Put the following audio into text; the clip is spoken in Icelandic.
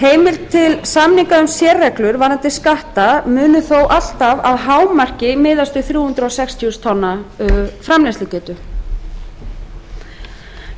heimild til samninga um sérreglur varðandi skatta munu þó alltaf að hámarki miðast við þrjú hundruð sextíu þúsund tonna framleiðslugetu